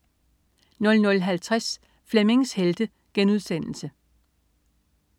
00.50 Flemmings Helte*